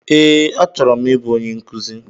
Ee, achọrọ m ị bụ onye nkuzi.